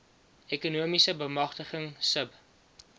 ekonomiese bemagtiging sub